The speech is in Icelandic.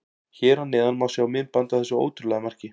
Hér að neðan má sjá myndband af þessu ótrúlega marki.